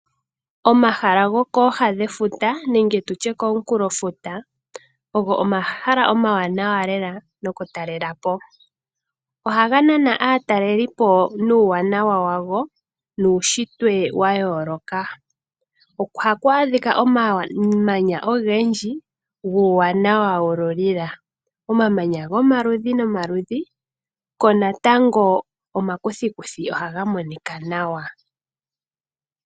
Omahala gokooha dhefuta nenge tutye komunkulofuta ogo omahala omawanawa lela nokutalelapo. Ohaga nana aatalelipo nuuwanawa wago nuushitwe wayooloka. Ohaku adhika omamanya ogendji guuwanawa wululila. Omamanya gomaludhi nomaludhi, ko natango omakuthikuthi ohaga monika nawa.